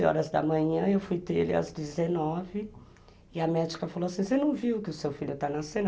às onze horas da manhã, eu fui ter ele às dezenove, e a médica falou assim, você não viu que o seu filho está nascendo?